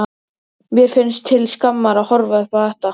Mér finnst til skammar að horfa upp á þetta.